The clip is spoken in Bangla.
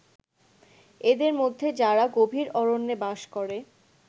এদের মধ্যে যারা গভীর অরণ্যে বাস করে